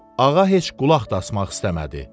Ağa heç qulaq da asmaq istəmədi.